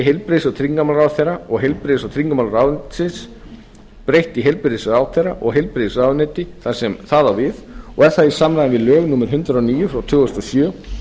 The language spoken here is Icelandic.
heilbrigðis og tryggingamálaráðherra og heilbrigðis og tryggingamálaráðuneytis breytt í heilbrigðisráðherra og heilbrigðisráðuneyti þar sem það á við og er það í samræmi við lög númer hundrað og níu tvö þúsund og sjö